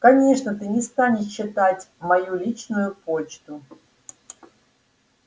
конечно ты не станешь читать мою личную почту